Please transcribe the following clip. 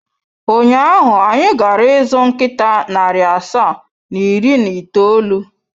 Ụnyaahụ, anyị gara ịzụ nkịta narị asaa na iri na itoolu.